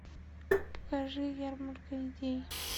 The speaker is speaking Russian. покажи ярмарка идей